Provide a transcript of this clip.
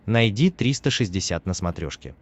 найди триста шестьдесят на смотрешке